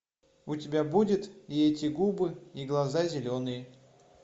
у тебя будет и эти губы и глаза зеленые